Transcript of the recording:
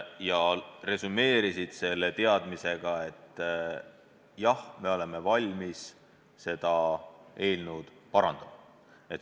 Lõppresümee oli teadmine, et nad on valmis seda eelnõu parandama.